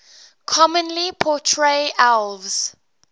commonly portray elves